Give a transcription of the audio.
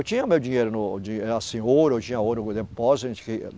Eu tinha meu dinheiro, no, de assim, ouro, eu tinha ouro no depósito.